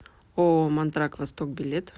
ооо мантрак восток билет